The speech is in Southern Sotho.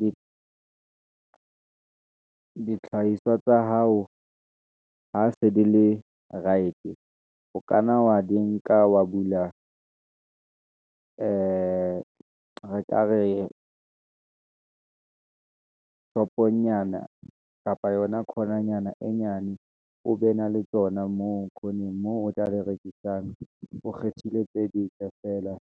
di dihlahiswa tsa hao ha se di le right, o kanna wa di nka wa bula, ee re ka re shop-onyana, kapa yona khona nyana e nyane, o be na le tsona moo khoneng. Moo o tla le rekisang, o kgethile tse dintle feela,